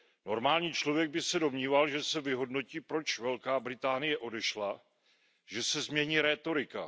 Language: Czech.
Normální člověk by se domníval, že se vyhodnotí, proč Velká Británie odešla, že se změní rétorika.